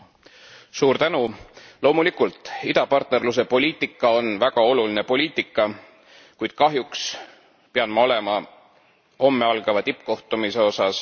Loomulikult, idapartnerluse poliitika on väga oluline poliitika, kuid kahjuks pean ma olema homme algava tippkohtumise osas kriitiline.